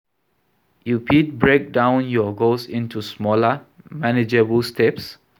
You fit break down your goals into smaller, manageable steps.